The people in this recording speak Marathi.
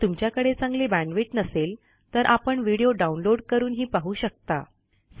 जर तुमच्याकडे चांगली बॅण्डविड्थ नसेल तर आपण व्हिडिओ डाउनलोड करूनही पाहू शकता